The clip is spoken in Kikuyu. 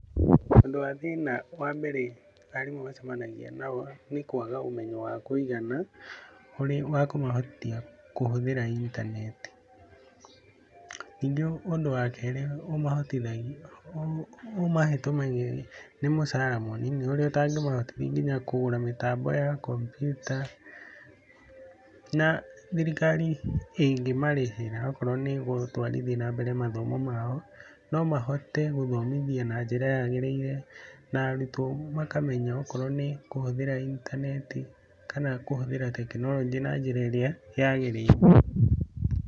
Ũndũ a thĩna wa mbere arimũ macemanagia nao nĩ kwaga ũmenyo wa kũigana, ũrĩa wa kũmahotithia kũhũthĩra intaneti. Ningĩ ũndũ wa kerĩ ũmahete ũmenyeri nĩ mũcara mũnini ũrĩa ũtangĩmahotithia nginya kũgũra mĩtambo ya kompyuta, na thirikari ĩngĩmarĩhĩra okorwo nĩ gũtwarithia na mbere mathomo mao, no mahote gũthomithia na njĩra yagĩrĩire na arutwo makamenya okorwo nĩ kũhũthĩra intaneti kana kũhũthĩra tekinoronjĩ na njĩra ĩrĩa yagĩrĩire.